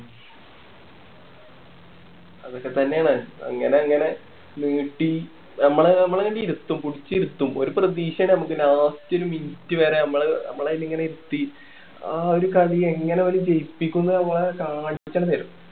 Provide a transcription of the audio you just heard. അതൊക്കെ തന്നെയാണ് അങ്ങനെ അങ്ങനെ നീട്ടി നമ്മളെ നമ്മളെ ഇങ്ങനെ ഇരുത്തും പുടിച്ച് ഇരുത്തും ഒരു പ്രതീക്ഷയാണ് നമുക്ക് last minute വരെ നമ്മള് നമ്മളെ ഇങ്ങനെ ഇരുത്തി ആ ഒരു കളി എങ്ങനെ അവര് ജയിപ്പിക്കും എന്ന് നമ്മളെ കാണിച്ചന്നെ തരും